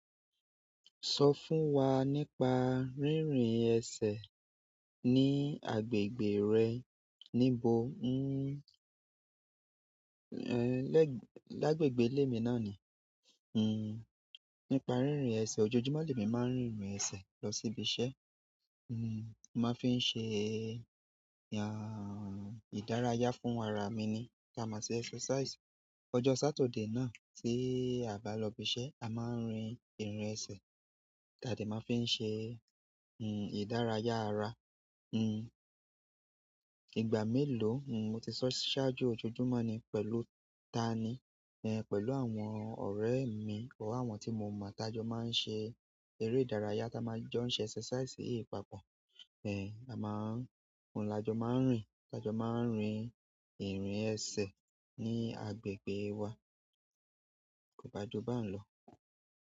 So fún wa nípa rírìn ese ni agbègbè re? Níbo? N-n-n ẹ́ lẹ́gbẹ̀gbẹ̀, lẹ́gbẹ̀gbẹ̀ ilé mi náà ni. Hmm. Nípa rírin ẹsẹ̀, ojoojúmọ́ mi máa ń rìn ẹsẹ̀ lọ sí ibi iṣẹ́. Hmm. Mo máa ń fi ń ṣe ẹ́, ìdárayá fún ara mi ni. Tá máa ṣe exercise. Ọjọ́ Sátidé náà tí a bá lọ ibi iṣẹ́, a máa ń rin ìrìn ẹsẹ̀. Tá de máa fi ń ṣe, hmm, ìdárayá ara. Hmm. Ìgbà mélòó, hmm, mo ti ṣọ́ṣáájú ojoojúmọ́ ni pẹ̀lú ta ni? Ẹ̀, pẹ̀lú àwọn ọ̀rẹ́ mi orí àwọn tí mo mọ̀ tájọ máa ń ṣe eré ìdárayá tá máa jọ ń ṣe exercise papọ̀. Ẹ̀, a máa ń, àjọ máa ń rìn, àjọ máa ń rin ìrìn ẹsẹ̀ ní agbègbè wa. Kò bá ju bẹ́ẹ̀ lọ.